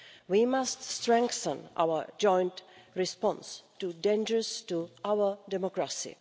We must strengthen our joint response to dangers to our democracy.